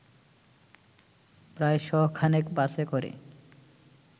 প্রায় শ'খানেক বাসে করে